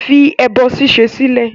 Fi ẹbọ ṣíṣe sílẹ̀!